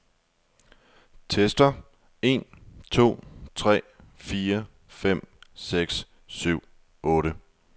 Tester en to tre fire fem seks syv otte.